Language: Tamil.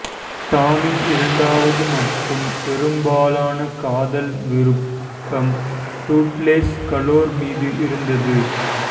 டாமின் இரண்டாவது மற்றும் பெரும்பாலான காதல் விருப்பம் டூட்லெஸ் கலோர் மீது இருந்தது